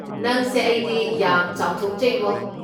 ꯅꯪꯁꯦ ꯑꯩꯗꯤ ꯌꯥꯝ ꯆꯥꯎꯊꯣꯛꯆꯩꯕꯣ꯫